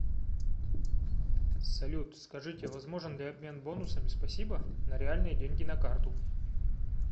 салют скажите возможен ли обмен бонусами спасибо на реальные деньги на карту